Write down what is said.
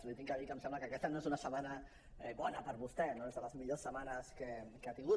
li he de dir que em sembla que aquesta no és una setmana bona per a vostè no és de les millors setmanes que ha tingut